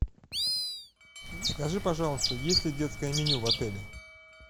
скажи пожалуйста есть ли детское меню в отеле